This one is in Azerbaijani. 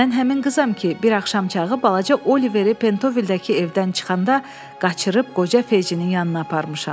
Mən həmin qızam ki, bir axşamçağı balaca Oliveri Pentovildəki evdən çıxanda qaçırıb qoca Feycinin yanına aparmışam.